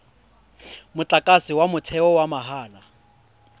motlakase wa motheo wa mahala